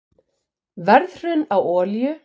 Verðhrun á olíu